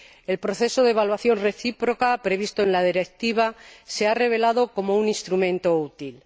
El proceso de evaluación recíproca previsto en la Directiva se ha revelado como un instrumento útil.